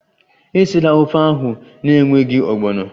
Esila ofe ahụ n'enweghị ogbono!